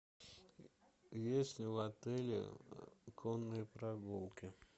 есть ли в отеле конные прогулки